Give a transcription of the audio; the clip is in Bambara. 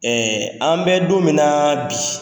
an bɛ don min na bi